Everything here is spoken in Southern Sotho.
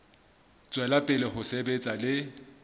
tswela pele ho sebetsa le